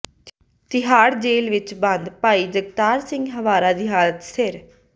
Tihar jail ਵਿਚ ਬੰਦ ਭਾਈ ਜਗਤਾਰ ਸਿੰਘ ਹਵਾਰਾ ਦੀ ਹਾਲਤ ਸਥਿਰ